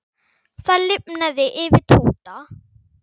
Það lifnaði yfir Tóta.